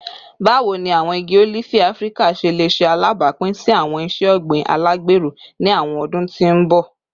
Bawo ni awọn igi olifi Afirika ṣe le ṣe alabapin si awọn iṣe ogbin alagbero ni awọn ọdun ti n bọ?